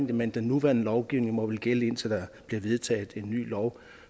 det men den nuværende lovgivning må vel gælde indtil der bliver vedtaget en ny lov